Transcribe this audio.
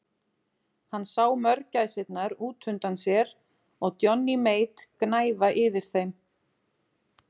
Hann sá mörgæsirnar út undan sér og Johnny Mate gnæfa yfir þeim.